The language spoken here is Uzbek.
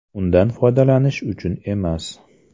Undan foydalanish uchun emas.